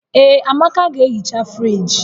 Ee, Amaka ga-ehicha friji